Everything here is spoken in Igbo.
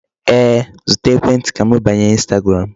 Ee, zụta ekwentị ka m banye Instagram.